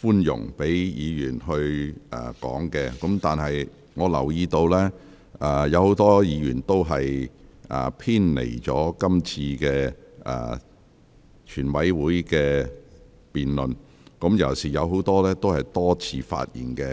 寬容，盡量讓委員發言，但我留意到，很多委員的發言內容偏離了辯論議題，而不少委員已多次發言。